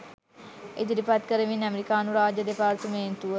ඉදිරිපත් කරමින් ඇමෙරිකානු රාජ්‍ය දෙපාර්තමේන්තුව